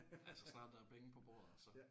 Altså snart der er penge på bordet så